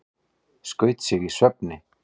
Skaut sig í svefni